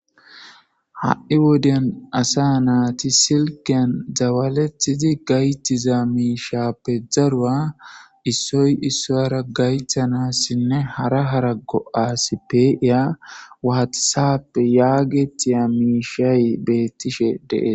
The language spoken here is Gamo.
ha7i woden asa naati silkyen dawaletidi gaytiza miishappe darua issoy issoyara gaythanassinne hara harago7asppe iya waatisappe yaagetiya miishay beettishe dees